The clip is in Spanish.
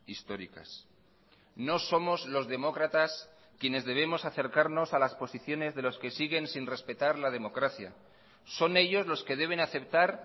históricas no somos los demócratas quienes debemos acercarnos a las posiciones de los que siguen sin respetar la democracia son ellos los que deben aceptar